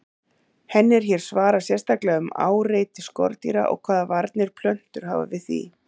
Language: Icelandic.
Henni er hér svarað sérstaklega um áreiti skordýra og hvaða varnir plöntur hafa við því.